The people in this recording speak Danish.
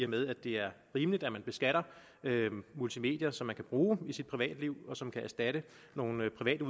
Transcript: med at det er rimeligt at vi beskatter multimedier som man kan bruge i sit privatliv og som kan erstatte nogle private